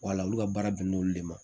Wala olu ka baara bɛn n'olu de ma